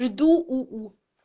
жду у у